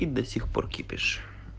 и до сих пор кипиш